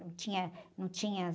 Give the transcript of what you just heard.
Não tinha, não tinha...